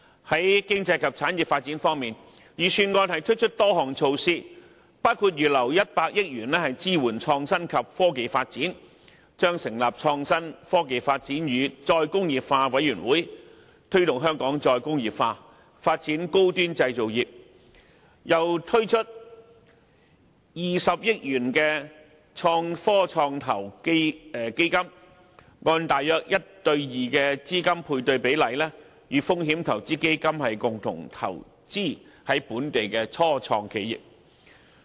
在經濟及產業發展方面，預算案推出多項措施，包括預留100億元支援創新及科技發展、成立創新科技及再工業化委員會、推動香港再工業化、發展高端製造業，並推出20億元的創科創投基金，按大約 1：2 的資金配對比例與風險投資基金共同投資於本地的初創企業。